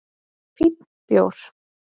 Fínn bjór